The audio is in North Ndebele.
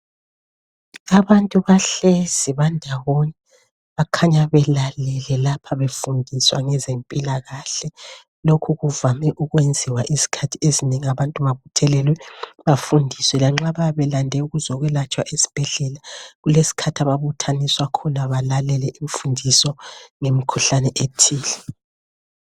Abantu bahlezi bandawonye bakhanya belalele lapha befundiswa ngezempilakahle. Lokho kuvame ukwenziwa izikhathi ezinengi abantu babuthelelwe bafundiswe lanxa bayabelande ukuzokwelatshwa ezibhedlela, kulesikhathi ababuthaniswa khona balalele imfundiso ngemikhuhlane ethile.